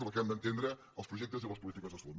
la que hem d’entendre els projectes i les polítiques de salut